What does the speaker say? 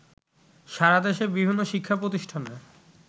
সারাদেশের বিভিন্ন শিক্ষা প্রতিষ্ঠানে